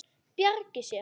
Bjargi sér.